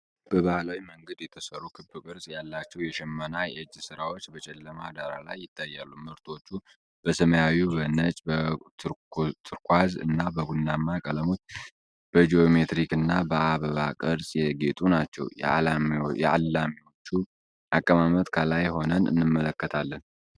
በባህላዊ መንገድ የተሠሩ ክብ ቅርጽ ያላቸው የሽመና የእጅ ሥራዎች በጨለማ ዳራ ላይ ይታያሉ። ምርቶቹ በሰማያዊ፣ በነጭ፣ በቱርኩዋዝ እና በቡናማ ቀለሞች በጂኦሜትሪክና በአበባ ቅርጾች ያጌጡ ናቸው። የአልሚዎቹን አቀማመጥ ከላይ ሆነን እንመለከታለን።